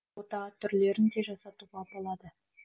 ота түрлерін де жасатуға болады